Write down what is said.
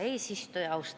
Hea eesistuja!